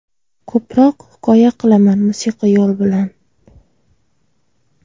Ko‘proq hikoya qilaman, musiqiy yo‘l bilan.